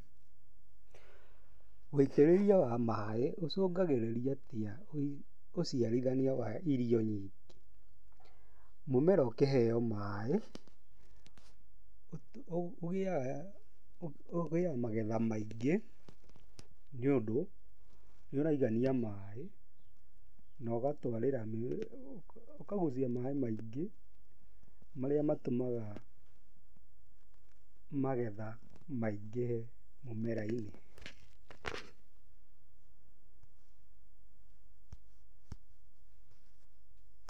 Wũitĩrĩria wa maaĩ ũcũngagĩrĩria atĩa ũciarithania wa irio nyingĩ? Mũmera ũkĩheo maĩ, ũgĩaga magetha maingĩ, nĩũndũ nĩ ũraiganĩa maĩ na ũgatwarĩra, ũkagucia maĩ maingĩ marĩa matũmaga magetha maingĩhe mũmera-inĩ.